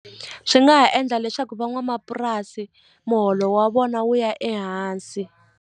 Swi nga ha endla leswaku van'wamapurasi muholo wa vona wu ya ehansi.